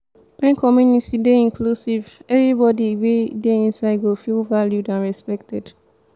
when community dey inclusive everybody wey de inside go feel valued and respected